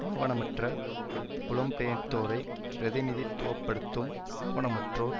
ஆவணமற்ற புலம்பெயர்த்தோரை பிரதிநிதித்துவ படுத்தும் ஆவணமற்றோர்